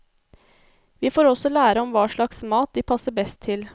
Vi får også lære om hva slags mat de passer best til.